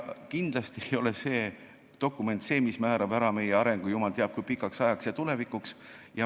Kindlasti ei ole see dokument see, mis määrab ära meie arengu jumal teab kui pikaks ajaks tulevikus.